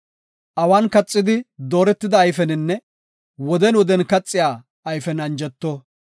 Awan kaxidi dooretida ayfeninne woden woden kaxiya ayfen anjeto.